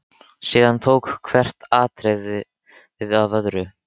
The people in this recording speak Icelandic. Síðan tók hvert atriðið við af öðru.